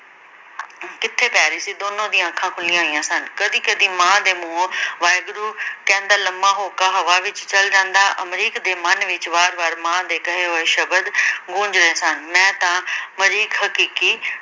ਕਿਥੇ ਪੈ ਰਹੀ ਸੀ ਦੋਨਾਂ ਦੀਆਂ ਅੱਖਾਂ ਖੁੱਲੀਆਂ ਹੋਈਆਂ ਸਨ ਕਦੀ ਕਦੀ ਮਾਂ ਦੇ ਮੂੰਹੋਂ ਵਾਹਿਗੁਰੂ ਕਹਿੰਦਾ ਲੰਮਾ ਹੋਕਾ ਹਵਾ ਵਿਚ ਚਲ ਜਾਂਦਾ ਅਮਰੀਕ ਦੇ ਮਨ ਵਿਚ ਵਾਰ ਵਾਰ ਮਾਂ ਦੇ ਕਹੇ ਹੋਏ ਸ਼ਬਦ ਗੂੰਜ ਰਹੇ ਸਨ, ਮੈ ਤਾਂ ਮਰੀਕ ਹਕੀਕੀ